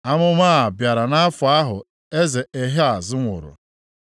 Amụma a bịara nʼafọ ahụ eze Ehaz nwụrụ: